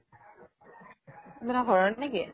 ঘৰৰ নেকি?